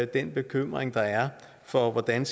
den bekymring der er for hvordan